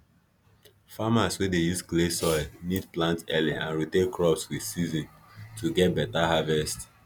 farmers wey dey use clay soil need plant early and rotate crops with season to get better harvest